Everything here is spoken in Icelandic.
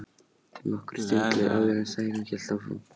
Nokkur stund leið áður en Særún hélt áfram.